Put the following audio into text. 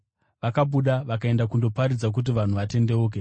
Vakabuda vakaenda kundoparidza kuti vanhu vatendeuke.